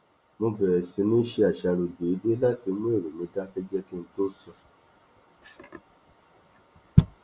mo bẹrẹ sí níí ṣe àṣàrò déédéé láti mú èrò mi dákẹjẹ kí n tó sùn